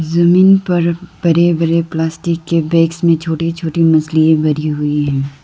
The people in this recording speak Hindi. जमीन पर बड़े बड़े प्लास्टिक के बैग्स में छोटी छोटी मछलियां भरी हुई है।